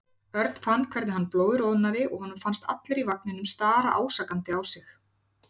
Örn fann hvernig hann blóðroðnaði og honum fannst allir í vagninum stara ásakandi á sig.